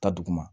Ta duguma